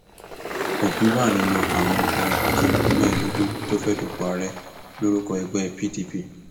òbí wà nínú àwọn olùdíje mẹẹẹdógún tó fẹẹ dúpọ ààrẹ lórúkọ ẹgbẹ pdp